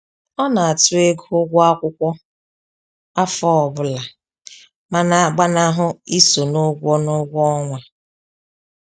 Ọ na àtụ́ ego ụgwọ akwụkwọ afọ ọbụla ma na-agbanahụ iso n'ụgwọ n'ụgwọ ọnwa